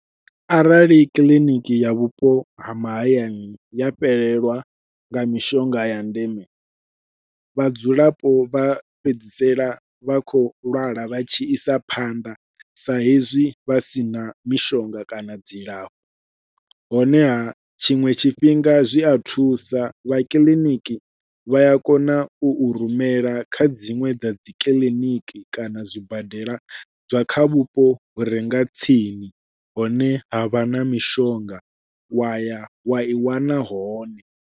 Arali kiḽiniki ya vhupo ha mahayani ya fhelelwa nga mishonga ya ndeme, vhadzulapo vha fhedzisela vha khou lwala vha tshi isa phanḓa sa hezwi vha sina mishonga kana dzilafho honeha tshiṅwe tshifhinga zwi a thusa vha kiḽiniki vha ya kona u u rumela kha dziṅwe dza dzi kiḽiniki kana zwibadela zwa kha vhupo hure nga tsini hune havha na mishonga wa ya wa i wana hone.